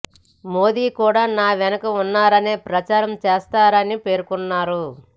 మోదీ కూడా నా వెనుక ఉన్నారని ప్రచారం చేస్తారని పేర్కొన్నారు